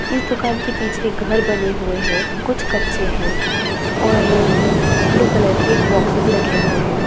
इस दुकान के पीछे एक घर बने हुए है कुछ कच्चे है और ब्लू कलर के बॉक्सेस रखे हुए है।